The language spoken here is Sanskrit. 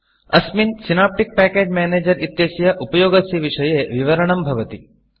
अस्मिन् सिनेप्टिक् पैकेज Managerसिनाप्टिक् पेकेज् मेनेजर् इत्यस्य उपयोगस्य विषये विवरणं भवति